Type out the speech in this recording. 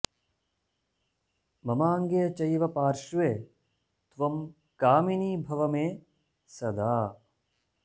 ममाङ्गे चैव पार्श्वे त्वं कामिनी भव मे सदा